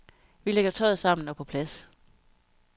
Vi lægger tøjet sammen og på plads.